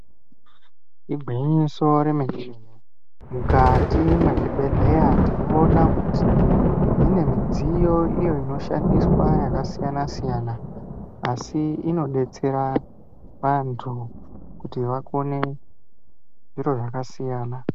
Igwinyiso remene mene mukati mwezvibhedhleya tinoona kuti mune midziyo iyo inoshandiswa yakasiyana siyana asi inodetsera vantu kuti vakone zviro zvakasiyana.